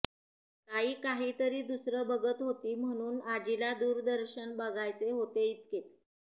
ताई काहितरी दुसरं बघत होती म्हणुन आजीला दूरदर्शन बघायचे होते इतकेच